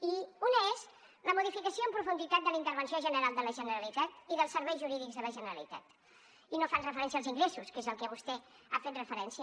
i una és la modificació en profunditat de la intervenció general de la generalitat i dels serveis jurídics de la generalitat i no fan referència als ingressos que és al que vostè ha fet referència